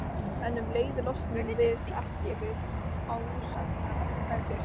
En um leið losnum við ekki við ásæknar efasemdir.